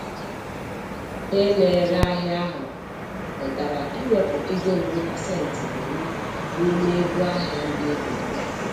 Onye na-ere ahịa ahụ kwetara iwepụ ego ruru pasentị iri n'ime ego ahịa ndị egoro ya.